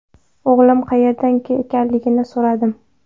O‘g‘lim qayerda ekanligini so‘radim.